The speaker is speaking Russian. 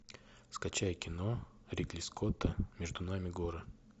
скачай кино ридли скотта между нами горы